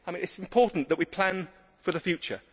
it. It is important that we plan for the future.